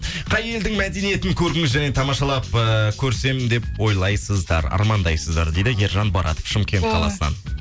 қай елдің мәдениетін көрдіңіз және тамашалап э көрсем деп ойлайсыздар армандайсыздар дейді ержан барат шымкент қаласынан